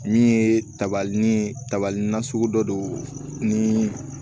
Min ye tabali ni tabali nasugu dɔ ye ni